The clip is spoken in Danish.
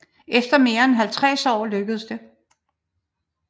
Efter mere end halvtreds år lykkedes det